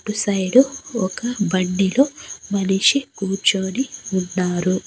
అటుసైడు ఒక బండి లో మనిషి కూర్చొని ఉన్నారు.